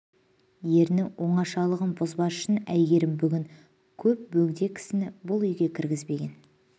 ерінің оңашалықшағын бұзбас үшін әйгерім бүгін көп бөгде кісіні бұл үйге кіргізбеген